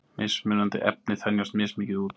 Mismunandi efni þenjast mismikið út.